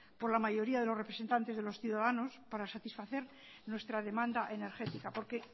por la mayoría de lo representantes de los ciudadanos para satisfacer nuestra demanda energética porque